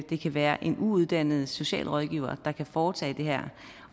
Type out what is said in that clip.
det kan være en uuddannet socialrådgiver der kan foretage det her